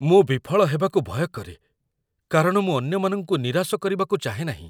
ମୁଁ ବିଫଳ ହେବାକୁ ଭୟ କରେ କାରଣ ମୁଁ ଅନ୍ୟମାନଙ୍କୁ ନିରାଶ କରିବାକୁ ଚାହେଁ ନାହିଁ।